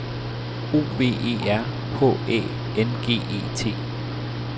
O V E R H Æ N G E T